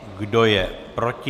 Kdo je proti?